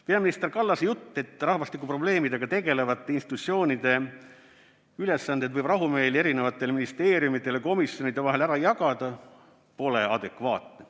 Peaminister Kallase jutt, et rahvastikuprobleemidega tegelevate institutsioonide ülesanded võib rahumeeli erinevate ministeeriumide ja komisjonide vahel ära jagada, ei ole adekvaatne.